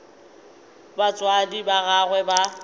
ge batswadi ba gagwe ba